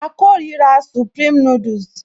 A kórira supreme noodles